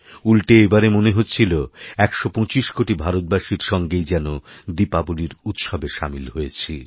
উল্টে এবারে মনে হচ্ছিল ১২৫ কোটিভারতবাসীর সঙ্গেই যেন দীপাবলির উৎসবে সামিল হয়েছি